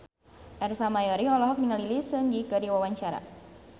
Ersa Mayori olohok ningali Lee Seung Gi keur diwawancara